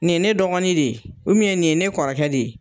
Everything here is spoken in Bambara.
Nin ye ne dɔgɔnin de ye nin ye ne kɔrɔkɛ de ye